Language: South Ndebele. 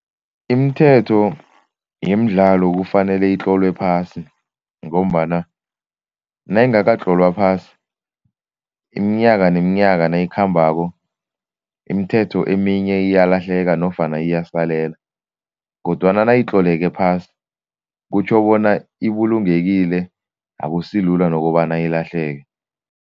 Imithetho yemidlalo kufanele itlolwe phasi ngombana nayingakatlolwa phasi, iminyaka neminyaka nayikhambako imithetho eminye iyalahleka nofana iyasalela kodwana nayitloleke phasi kutjho bona ibulungekile akusilula nokobana ilahleke.